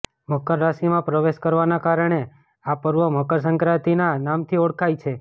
મકર રાશિમાં પ્રવેશ કરવાના કારણે આ પર્વ મકર સંક્રાતિના નામથી ઓળખાય છે